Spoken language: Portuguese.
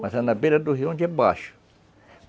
Mas é na beira do rio, onde é baixo.